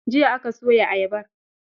Jiya aka soye ayabar!